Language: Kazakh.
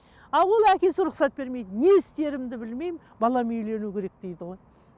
ал ол әкесі рұқсат бермейді не істерімді білмеймін балам үйлену керек дейді ғой